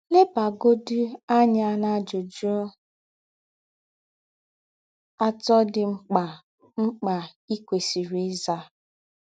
Lebagọdị anya n’ajụjụ atọ dị mkpa mkpa i kwesịrị ịza.